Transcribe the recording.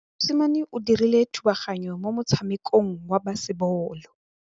Mosimane o dirile thubaganyô mo motshamekong wa basebôlô.